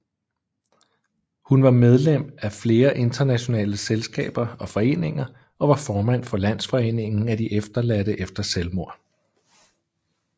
Hun var medlem af flere internationale selskaber og foreninger og var formand for Landsforeningen af efterladte efter selvmord